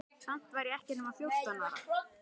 Samt var ég ekki nema fjórtán ára.